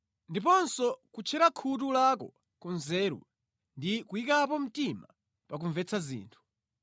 ndiponso kutchera khutu lako ku nzeru ndi kuyikapo mtima pa kumvetsa zinthu;